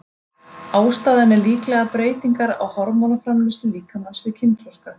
Ástæðan er líklega breytingar á hormónaframleiðslu líkamans við kynþroska.